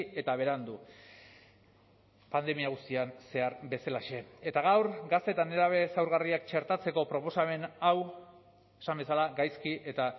eta berandu pandemia guztian zehar bezalaxe eta gaur gazte eta nerabe zaurgarriak txertatzeko proposamen hau esan bezala gaizki eta